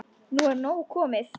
Nú er nóg komið.